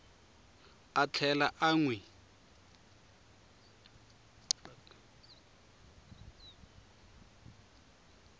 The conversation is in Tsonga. a tlhela a n wi